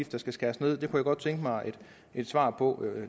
der skal skæres ned på det godt tænke mig et svar på